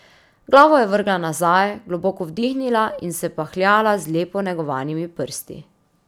Glavo je vrgla nazaj, globoko vdihnila in se pahljala z lepo negovanimi prsti.